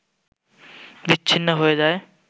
বিচ্ছিন্ন হয়ে যায়